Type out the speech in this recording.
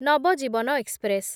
Navjivan express